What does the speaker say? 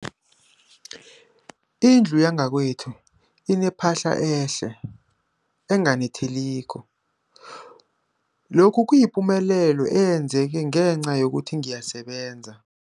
Indlu yakwethu inephahla elihle, elinganetheliko, lokhu kuyipumelelo eyenzeke ngenca yokuthi ngiyasebenza.